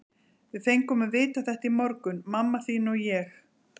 Við fengum að vita þetta í morgun, mamma þín og ég.